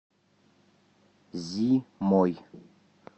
зимой